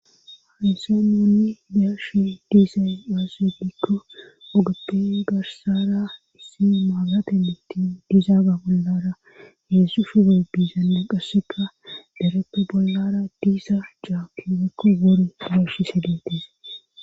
hayisan nuni be'ashe dizay gikko ogappe garsara issi maabirate miittin diizaaga bollara heezu shufoy biizanne qasseka dareppe bollara diza caaki woyikko wuri betishe detes